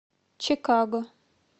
чикаго